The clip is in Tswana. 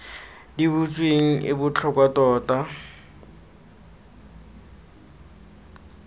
di butsweng e botlhokwa tota